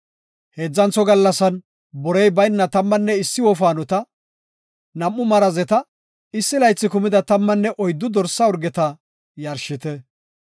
“Heedzantho gallasan borey bayna tammanne issi wofaanota, nam7u marazeta issi laythi kumida tammanne oyddu dorsa urgeta yarshite.